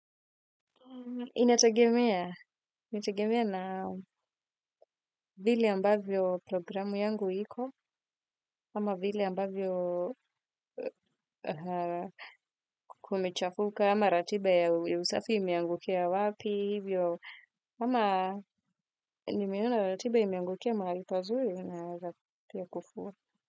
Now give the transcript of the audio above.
Inategemea na vile ambavyo programu yangu hiko ama vile ambavyo kumechafuka ama ratiba ya usafi imeangukia wapi hivyo ama nimeona ratiba imeangukia mahali pazuri naeza pia kufua.